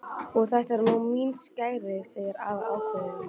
Og þetta eru mín skæri sagði afi ákveðinn.